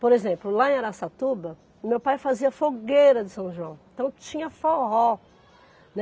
Por exemplo, lá em Araçatuba, o meu pai fazia fogueira de São João, então tinha forró, né.